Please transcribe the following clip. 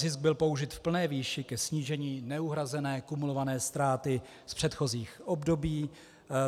Zisk byl použit v plné výši ke snížení neuhrazené kumulované ztráty z předchozích období.